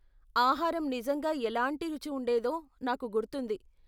ఆహారం నిజంగా ఎలాంటి రుచి ఉండేదో నాకు గుర్తుంది.